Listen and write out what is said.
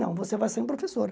Não, você vai sair um professor.